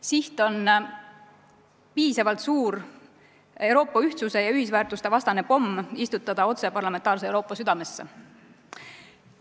Siht on istutada piisavalt suur Euroopa ühtsuse ja ühisväärtuste vastane pomm otse parlamentaarse Euroopa südamesse.